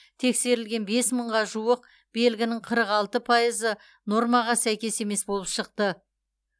тексерілген бес мыңға жуық белгінің қырық алты пайызы нормаға сәйкес емес болып шықты